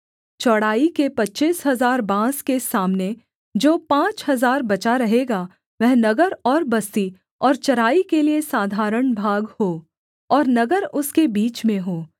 चौड़ाई के पच्चीस हजार बाँस के सामने जो पाँच हजार बचा रहेगा वह नगर और बस्ती और चराई के लिये साधारण भाग हो और नगर उसके बीच में हो